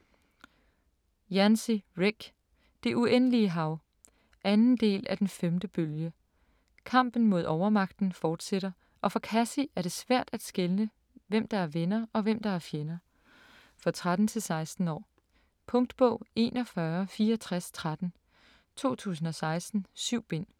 Yancey, Rick: Det uendelige hav 2. del af Den 5. bølge. Kampen mod overmagten fortsætter og for Cassie er det svært at skelne hvem der er venner og hvem der er fjender. For 13-16 år. Punktbog 416413 2016. 7 bind.